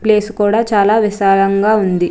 Place కూడా చాలా విశాలంగా ఉంది.